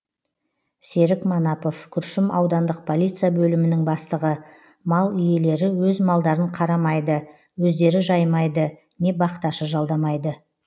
серік манапов күршім аудандық полиция бөлімінің бастығы мал иелері өз малдарын қармайды өздері жаймайды не бақташы жалдамайды